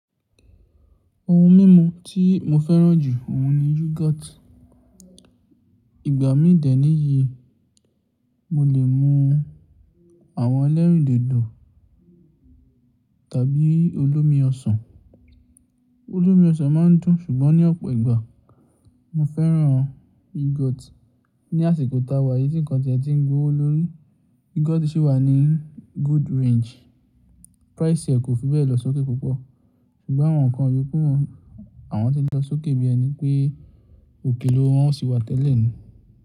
Ohun mímú tí mo fẹ́ràn jù òun ni yogurt. Ìgbà mídì níyì mo lè mu àwọn ẹlẹ́rìndòdò tàbí olómi ọsàn. Olómi ọsàn má ń dùn, ṣùgbọ́n ní ọ̀pọ̀ ìgbà mo fẹ́ràn yogurt. Ní àsìkò ta wà, èyí nìkan tí ẹ ti ń gbówó lórí. Yogurt sì wà ní good range. Price rẹ̀ kò fi bẹ́ẹ̀ lọ sókè púpọ̀. Ṣùgbọ́n àwọn ǹkan yoku àwọn ti ń lọ sókè bí ẹni pé òkèló wọn ò sí wá tẹ́lẹ̀ nù.